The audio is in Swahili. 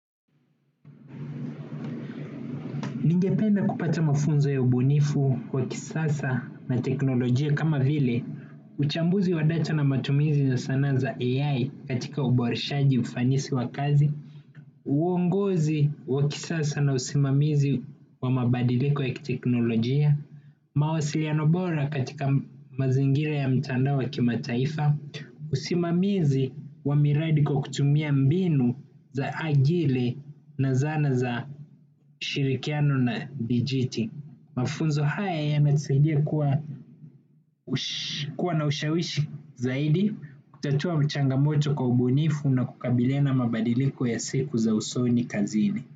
Ningependa kupata mafunzo ya ubunifu, wa kisasa na teknolojia kama vile uchambuzi wa data na matumizi na sana za AI, katika uboreshaji ufanisi wa kazi uongozi wa kisasa na usimamizi wa mabadiliko ya kiteknolojia mawasiliano bora katika mazingira ya mtandao wa kimataifa usimamizi wa miradi kwa kutumia mbinu za ajili na zana za shirikiano na dijiti. Mafunzo haya yanatusaidia kuwa na ushawishi zaidi kutatua changamoto kwa ubunifu na kukabiliana na mabadiliko ya siku za usoni kazini.